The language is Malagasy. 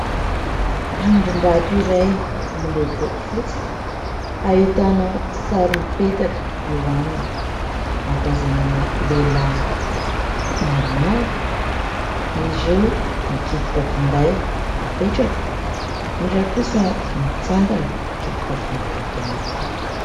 Rindrim-bato iray miloko fotsy, ahitana sary mipetaka eo aminy. Ahatazanana lehilahy maromaro, ny roa mikitika finday mipetraka, ny iray kosa mitsangana mikitika finday ihany koa.